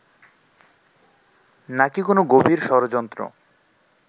নাকি কোনো গভীর ষড়যন্ত্র